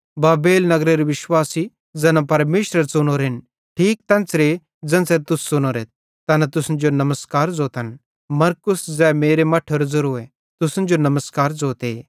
बाबेल नगरेरे विश्वासी ज़ैना परमेशरे च़ुनोरेन ठीक तेन्च़रे ज़ेन्च़रे तुस च़ुनोरेथ तैना तुसन जो नमस्कार ज़ोतन मरकुस ज़ै मेरे मट्ठेरो ज़ेरोए तुसन जो नमस्कार ज़ोते